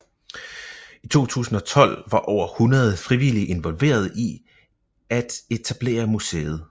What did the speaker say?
I 2012 var over 100 frivillige involveret i at etablere museet